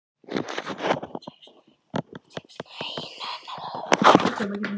Lillý Valgerður: Og leið honum þá betur?